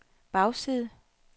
bagside